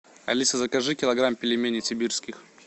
алиса закажи килограмм пельменей сибирских